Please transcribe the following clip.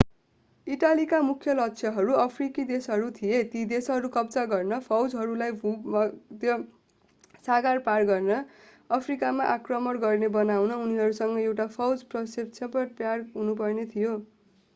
इटालीका मुख्य लक्ष्यहरू अफ्रिकी देशहरू थिए ती देशहरू कब्जा गर्न फौजहरूलाई भूमध्य सागर पार गरेर अफ्रिकामा आक्रमण गर्ने बनाउन उनीहरूसँग एउटा फौज प्रक्षेपण प्याड हुनुपर्ने थियो